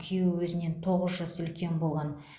күйеуі өзінен тоғыз жас үлкен болған